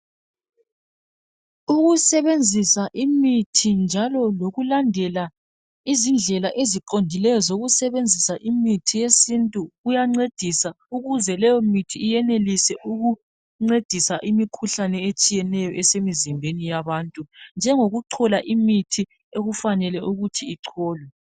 Ukusebenzisa imithi njalo lokulandela izindlela eziqondileyo zokusebenzisa imithi yesintu kuyancedisa ukuze leyo mithi iyenelise ukuncedisa imikhuhlane etshiyeneyo esemzimbeni yabantu njengokuchola imithi okufanele ukuthi icholwe